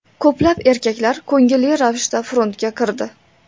Ko‘plab erkaklar ko‘ngilli ravishda frontga kirdi.